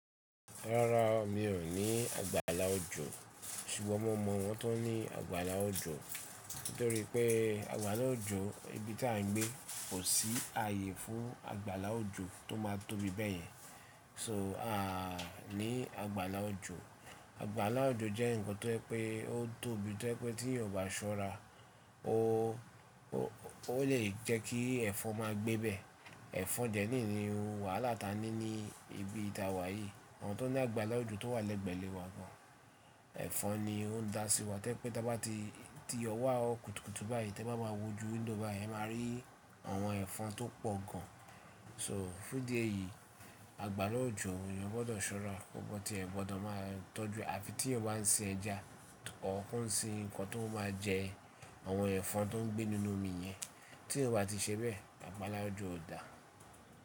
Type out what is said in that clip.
Rárá, mi ò ní àgbàlá òjò sùgbọ́n mo mọ̀ àwọn tó ní àgbàlá òjò. Nítorí pé àgbàlá òjò ibi tí à ń gbé kò sí ààyè fún àgbàlá òjò tó má tóbi bẹ́ẹ̀ yẹn. So, à ní àgbàlá òjò. Àgbàlá òjò jẹ́ nǹkan tó ẹ pé ó tóbi tó ẹ́ pé tí ẹ ò bá ṣọ́ra o o lè jẹ́ kí ẹ́fọn máa gbé bẹ. Ẹ̀fọn dẹ́ níni òun wàhálà tí a ní ní ibi tí a wà yìí. Àwọn tó ní àgbàlá òjò tó wà lẹ́gbẹ́ le wa gan. Ẹ̀fọn ni ó ń dá sí wa tẹ́ pé tí a bá ti ti yọ wá òkùtùkù báyìí tí ẹ bá máa wo ju window báyìí ẹ máa rí àwọn ẹ̀fọn tó pọ̀ gan. So fún idí eyìí, àgbàrá òjò èeyàn gbọ́dọ̀ ṣọ́ra, gbogbo tí ẹ gbọ́dọ̀ máa tọ́jú àfi tí eyan bá ń ṣin ẹja or ko sí nǹkan tó máa jẹ àwọn ẹ̀fọn tó ń gbé nínú omi yẹn. Tí yan ba ti ṣe bẹ́ẹ̀, àgbàlá òjò ò dà.